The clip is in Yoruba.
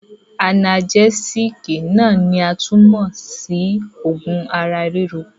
Anagẹ́sííkì náà ni a tún mọ̀ sí oogun ara-ríro.